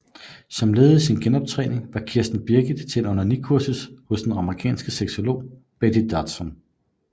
Som led i sin genoptræning var Kirsten Birgit til onanikursus hos den amerikanske sexolog Betty Dodson